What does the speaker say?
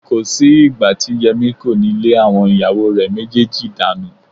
Kò sí ìgbà tí Yẹmí kò ní lé àwọn ìyàwó rẹ méjèèjì dànù